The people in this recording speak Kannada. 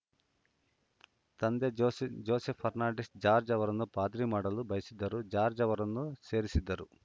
ತಂದೆ ಜೋಸೆಫ್‌ ಜೋಸೆಫ್‌ ಫರ್ನಾಂಡಿಸ್‌ ಜಾರ್ಜ್ ಅವರನ್ನು ಪಾದ್ರಿ ಮಾಡಲು ಬಯಸಿದ್ದರು ಜಾರ್ಜ್ ಅವರನ್ನು ಸೇರಿಸಿದ್ದರು